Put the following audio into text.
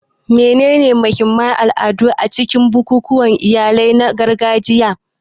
Menene mahimman al'adu a cikin bukukuwan iyali na gargajiya?